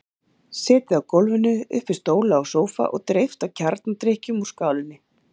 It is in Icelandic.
Setið á gólfinu upp við stóla og sófa og dreypt á kjarnadrykknum úr skálinni.